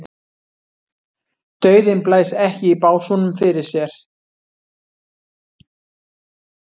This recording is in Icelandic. Dauðinn blæs ekki í básúnum fyrir sér.